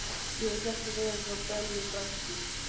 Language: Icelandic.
Ég vil ekki vera hjá Bellu frænku.